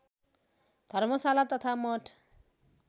धर्मशाला तथा मठ